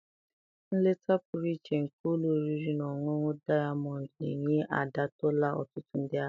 Nleta pụrụ iche nke ụlọ oriri na ọṅụṅụ Dayamọndụ na-enye adọtala ọtụtụ ndị ahịa.